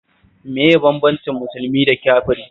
Me yake bambanta musulmi da kafiri